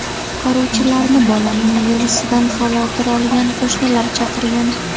Qutqaruvchilarni bolaning yig‘isidan xavotir olgan qo‘shnilar chaqirgan.